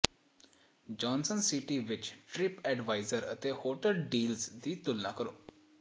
Johnson City ਵਿਚ TripAdvisor ਤੇ hotel deals ਦੀ ਤੁਲਨਾ ਕਰੋ